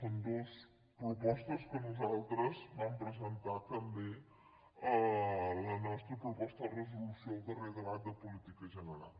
són dues propostes que nosaltres vam presentar també a la nostra proposta de resolució al darrer debat de política general